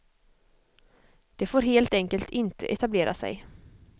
De får helt enkelt inte etablera sig.